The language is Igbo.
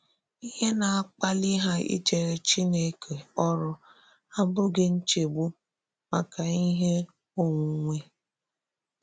Íhè na-akpàlị hà ìjèrè Chìnèkè ọ̀rụ́ abụghị nchegbu maka íhè ònwùnwè.